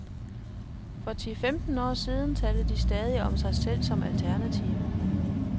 For ti femten år siden talte de stadig om sig selv som alternative.